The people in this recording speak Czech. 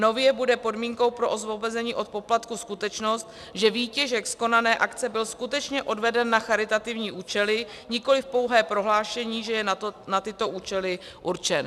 Nově bude podmínkou pro osvobození od poplatku skutečnost, že výtěžek z konané akce byl skutečně odveden na charitativní účely, nikoliv pouhé prohlášení, že je na tyto účely určen.